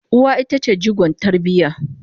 uwa ita ce jigon tarbiya